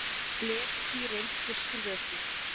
gler er því í reynd frystur vökvi